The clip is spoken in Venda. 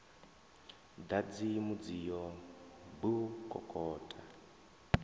ḓadzi mudzio b u kokota